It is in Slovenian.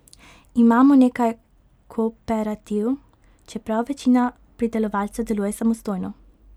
Imamo nekaj kooperativ, čeprav večina pridelovalcev deluje samostojno.